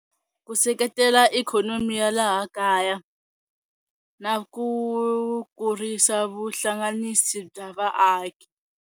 Ku seketela ikhonomi ya laha kaya na ku kurisa vuhlanganisi bya vaaki.